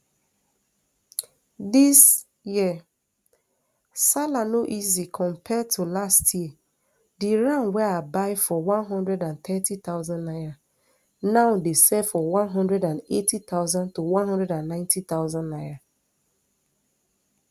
dis year sallah no easy compared to last year di ram wey i buy for one hundred and thirty thousand naira now dey sell for one hundred and eighty thousand to one hundred and ninety thousand naira